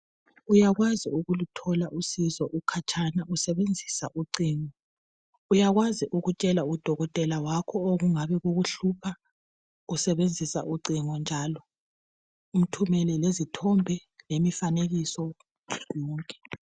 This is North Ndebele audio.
Uyakwazi ukuluthola usizo ukhatshana usebenzisa ucingo. Uyakwazi ukutshela udokothela wakho okungabe kukuhlupha usebenzisa ucingo njalo, umthumele lezithombi, lemifanekiso konke.